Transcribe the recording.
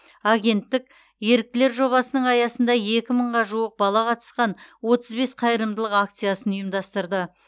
агенттік еріктілер жобасының аясында екі мыңға жуық бала қатысқан отыз бес қайырымдылық акциясын ұйымдастырды